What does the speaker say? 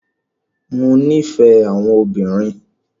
Mo nífẹ̀ẹ́ àwọn obìnrin.